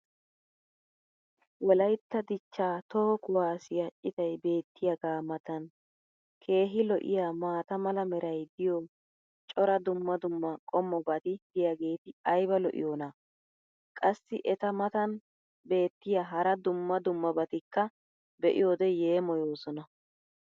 wolaytta dichchaa toho kuwaassiyaa citay beetiyaagaa matan keehi lo'iyaa maata mala meray diyo cora dumma dumma qommotokkobati diyaageti ayba lo'iyoonaa? qassi eta matan beetiya hara dumma dummabatikka be'iyoode yeemmoyoosona.